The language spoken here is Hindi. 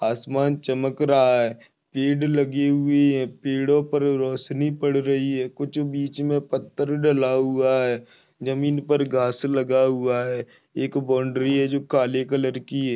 आसमान चमक रहा है पेड़ लगी हुई है पेड़ो पर रोशनी पड़ रही है कुछ बीच मे पत्थर ढला हुआ है जमीन पर घास लगा हुआ है एक बाउंड्री है जो काले कलर की है।